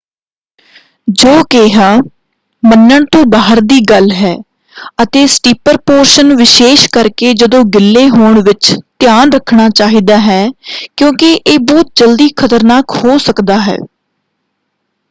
ਜੋ ਕਿਹਾ ਮੰਨਣ ਤੋਂ ਬਾਹਰ ਦੀ ਗੱਲ ਹੈ ਅਤੇ ਸਟੀਪਰ ਪੋਰਸ਼ਨ ਵਿਸ਼ੇਸ਼ ਕਰਕੇ ਜਦੋਂ ਗਿੱਲੇ ਹੋਣ ਵਿੱਚ ਧਿਆਨ ਰੱਖਣਾ ਚਾਹੀਦਾ ਹੈ ਕਿਉਂਕਿ ਇਹ ਬਹੁਤ ਜਲਦੀ ਖ਼ਤਰਨਾਕ ਹੋ ਸਕਦਾ ਹੈ।